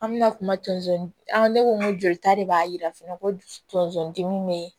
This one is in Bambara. An bɛna kuma tonso an ne ko n ko jolita de b'a jira fɛnɛ ko tonso dimi bɛ yen